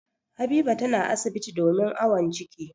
Habiba tana asibiti domin awon ciki.